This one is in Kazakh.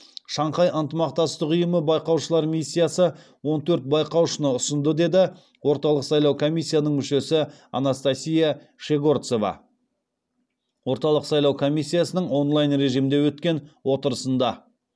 шанхай ынтымақтастық ұйымы байқаушылар миссиясы он төрт байқаушыны ұсынды деді орталық сайлау комиссиясының мүшесі анастасия щегорцова орталық сайлау комиссиясының онлайн режимінде өткен отырысында